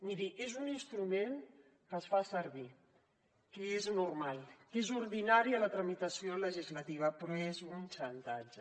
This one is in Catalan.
miri és un instrument que es fa servir que és normal que és ordinari a la tramitació legislativa però és un xantatge